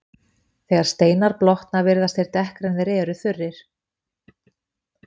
Þegar steinar blotna virðast þeir dekkri en þegar þeir eru þurrir.